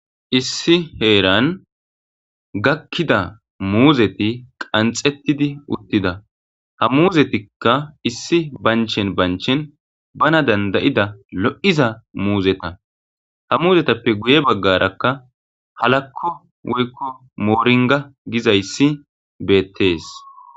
Issi heerani gakida muuzeti qanxetidi utida, ha muuzetika issi bancheni bancheni bana danda'ida lo'iza muuzeta, ha muuzetappe guye bagaraka halako woyko moroniga gizaysi beetesi